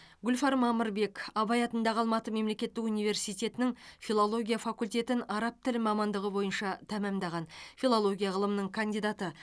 гүлфар мамырбек абай атындағы алматы мемлекеттік университетінің филология факультетін араб тілі мамандығы бойынша тәмамдаған филология ғылымының кандидаты